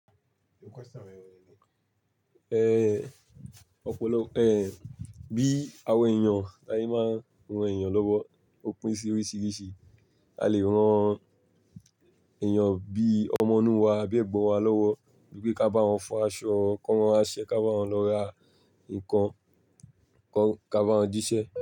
Bí àwa èèyàn, bi aye máa ń ran èèyàn lọ́wọ́ ó pín sí oríṣiríṣi. A lè rán èèyàn bí ọmọ inú wa àbí Ẹ̀gbọ́n wa lọ́wọ́ wípé ká bá wọn fọ aṣọ, kó wọn aṣẹ, ká bá wọn lọ ra nǹkan, ká bá wọn jíṣẹ́